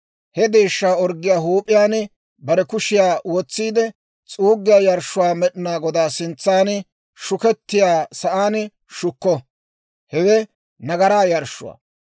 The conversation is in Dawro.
He deeshshaa orggiyaa huup'iyaan bare kushiyaa wotsiide s'uuggiyaa yarshshuu Med'inaa Godaa sintsan shukettiyaa sa'aan shukko; hewe nagaraa yarshshuwaa.